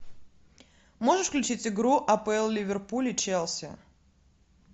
можешь включить игру апл ливерпуль и челси